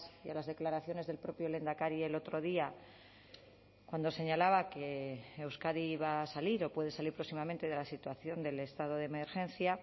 y a las declaraciones del propio lehendakari el otro día cuando señalaba que euskadi va a salir o puede salir próximamente de la situación del estado de emergencia